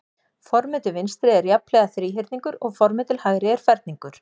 Formið til vinstri er jafnhliða þríhyrningur og formið til hægri er ferningur.